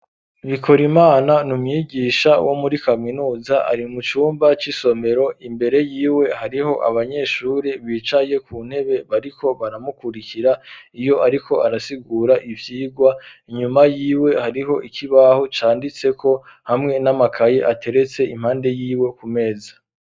Bikorimana n'umwigisha wo muri kaminuza ari mu cumba c'isomero imbere yiwe hariho abanyeshuri bicaye ku ntebe bariko baramukurikira iyo ariko arasigura ivyirwa inyuma yiwe hariho ikibaho canditseko hamwe n'amakayi ateretse impande yiwe ku meza